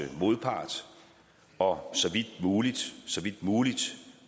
modpart og så vidt muligt muligt